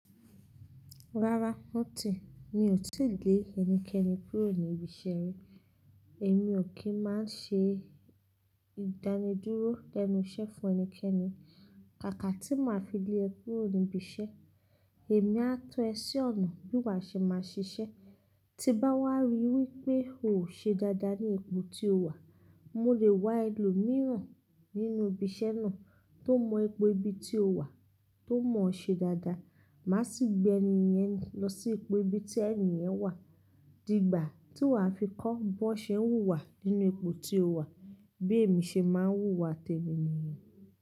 Rárá, ó ti, mi ò tíì lé ẹnikẹni kúrò ní ibi iṣẹ́ rí. Èmi ò kí ń máa ṣe ìdánidúró lẹ́nu iṣẹ́ fún ẹnikẹni. Kàkà tí mo máa fi lé ẹ kúrò níbi iṣẹ́, èmi á tọ ẹ sí ọ̀nà bí wà ṣe máa ṣiṣẹ́. Tí bá wá rí wípé o ò ṣe dáadáa ní ipò tí o wà, mo lè wá ẹlòmíràn nínú ibi iṣẹ́ náà tó mọ ipò ibi tí o wà, tó mọ ṣe dáadáa. Màá sì gbé ẹni yẹn lọ sí ipò ibi tí ẹni yẹn wà. Dígbà tí wà á fi kọ́ bó n ṣe ń wùwà nínú ipò tí o wà bí èmi ṣe máa ń wù wà tẹ mi níyẹn.